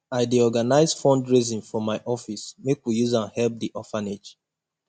i dey organise fundraising for my office make we use am help di orphanage